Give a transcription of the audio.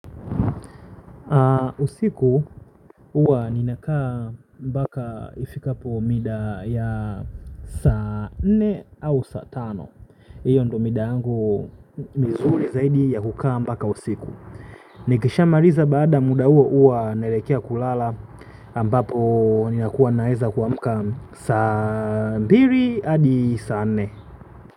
Usiku huwa ninakaa mpaka ifikapo mida ya saa nne au saa tano. Iyo ndo mida yangu mizuri zaidi ya hukaa mpaka usiku. Nikisha maliza baada ya muda huo huwa naelekea kulala ambapo ninakuwa naweza kuamka saa mbili adi saa nne.